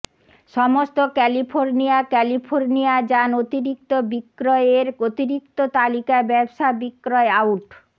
সমস্ত California California যান অতিরিক্ত বিক্রয় এর অতিরিক্ত তালিকা ব্যবসা বিক্রয় আউট